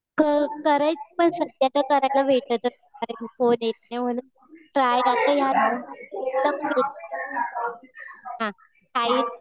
करायचं आहे पण सध्या करायला भेटतच नाही. कारण कि कोणी येत नाही म्हणून.